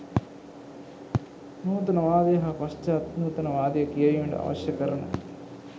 නූතනවාදය හා පශ්චාත් නූතනවාදය කියැවීමට අවශ්‍ය කරන